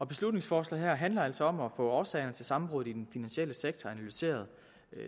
beslutningsforslaget her handler altså om at få årsagerne til sammenbruddet i den finansielle sektor analyseret